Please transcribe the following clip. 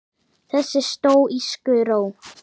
Þessa stóísku ró.